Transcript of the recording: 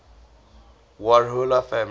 warhola family